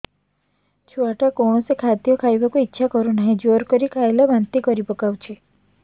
ଛୁଆ ଟା କୌଣସି ଖଦୀୟ ଖାଇବାକୁ ଈଛା କରୁନାହିଁ ଜୋର କରି ଖାଇଲା ବାନ୍ତି କରି ପକଉଛି